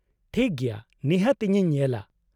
-ᱴᱷᱤᱠ ᱜᱮᱭᱟ, ᱱᱤᱦᱟᱹᱛ, ᱤᱧᱤᱧ ᱧᱮᱞᱟ ᱾